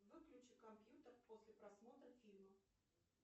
выключи компьютер после просмотра фильма